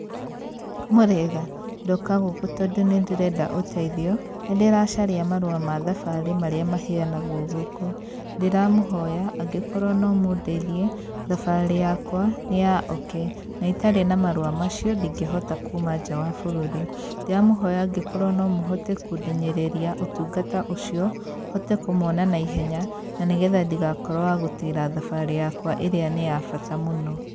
Mũrĩega? Ndoka gũkũ tondu nĩndĩrenda ũteithio, nĩndĩracaria marũa ma thabarĩ marĩa maheanagwo gũkũ. Ndĩramũhoya angĩkorwo nomũndeithie, thabarĩ yakwa nĩ ya oke na itarĩ na marũa macio, ndingĩhota kuma nja wa bũrũri. Ndĩramũhoya angĩkorwo nomũhote kũndeng'ereria ũtungata ũcio, hote kũmona naihenya, na nĩgetha ndigakorwo wa gũtĩĩra thabarĩ yakwa ĩrĩa nĩ ya bata mũno.